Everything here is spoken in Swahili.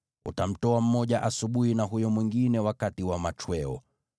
Utamtoa mmoja asubuhi na huyo mwingine jioni.